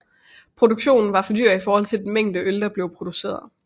Produktionen var for dyr i forhold til den mængde øl der blev produceret